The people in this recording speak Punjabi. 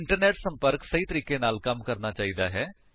ਇੰਟਰਨੇਟ ਸੰਪਰਕ ਸਹੀ ਤਰੀਕੇ ਨਾਲ ਕੰਮ ਕਰਨਾ ਚਾਹੀਦਾ ਹੈ